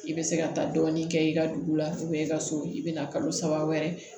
I bɛ se ka taa dɔɔnin kɛ i ka dugu la i ka so i bɛ na kalo saba wɛrɛ